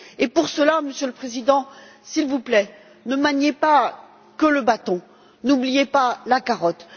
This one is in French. Pour cela, Monsieur le Président, s'il vous plaît, ne maniez pas uniquement le bâton, n'oubliez pas la carotte.